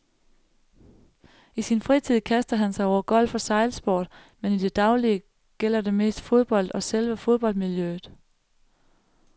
I sin fritid kaster han sig over golf og sejlsport, men i det daglige gælder det mest fodbold og selve fodboldmiljøet.